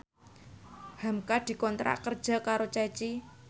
hamka dikontrak kerja karo Ceci